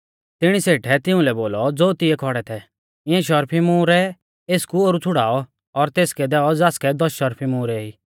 तिणी सेठै तिउंलै बोलौ ज़ो तिऐ खौड़ै थै इऐं शर्फी मुहरै एसकु ओरु छ़ुड़ाऔ और तेसकै दैऔ ज़ासकै दस शर्फी मुहरै ई